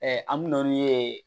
an bɛ na n'u ye